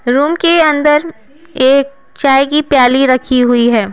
Room के अंदर एक चाय की प्याली रखी हुई है।